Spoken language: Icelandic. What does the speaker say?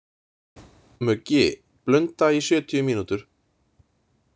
Muggi, blunda í sjötíu mínútur.